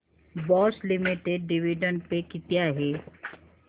Bosch limited dividend pay किती आहे